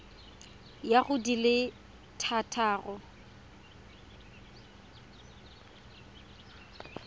ya go di le thataro